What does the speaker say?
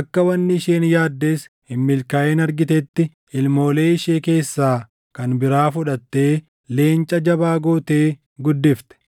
akka wanni isheen yaaddes hin milkaaʼin argitetti, ilmoolee ishee keessaa kan biraa fudhattee leenca jabaa gootee guddifte.